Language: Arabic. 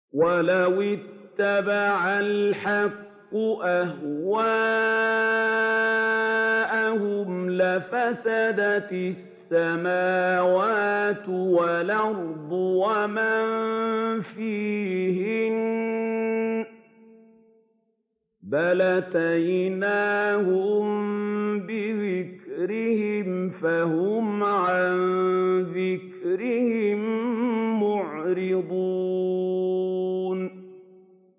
وَلَوِ اتَّبَعَ الْحَقُّ أَهْوَاءَهُمْ لَفَسَدَتِ السَّمَاوَاتُ وَالْأَرْضُ وَمَن فِيهِنَّ ۚ بَلْ أَتَيْنَاهُم بِذِكْرِهِمْ فَهُمْ عَن ذِكْرِهِم مُّعْرِضُونَ